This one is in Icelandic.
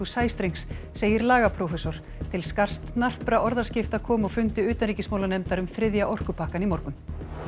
sæstrengs segir lagaprófessor til snarpra orðaskipta kom á fundi utanríkismálanefndar um þriðja orkupakkann í morgun